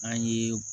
An ye